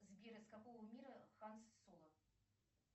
сбер из какого мира хан соло